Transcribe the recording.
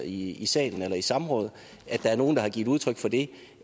i salen eller i samråd at der er nogen der har givet udtryk for det